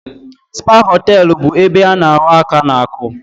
Spa hoteelu bụ ebe a na ahọ aka n'aku